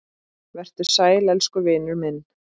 Vertu sæll elsku vinur minn.